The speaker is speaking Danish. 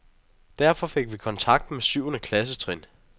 Derfor fik vi kontakt med syvende klasstrin.